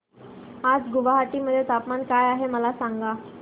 आज गुवाहाटी मध्ये तापमान काय आहे मला सांगा